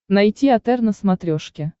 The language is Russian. найти отр на смотрешке